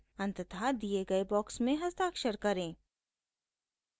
अंततः दिए गए बॉक्स में हस्ताक्षर करें